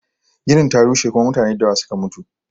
Ginin ta rushe kuma mutane da yawa suke mutu